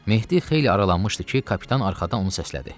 Mehdi xeyli aralanmışdı ki, kapitan arxadan onu səslədi.